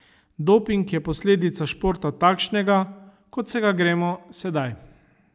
Doping je posledica športa takšnega, kot se ga gremo sedaj.